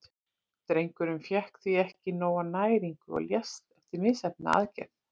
Drengurinn fékk því ekki nóga næringu og lést eftir misheppnaða aðgerð.